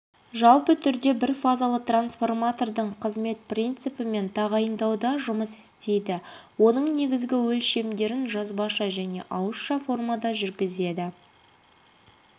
жалпы түрде бірфазалы трансформатордың қызмет принципі мен тағайындауда жұмыс істейді оның негізгі өлшемдерін жазбаша және ауызша формада жүргізеді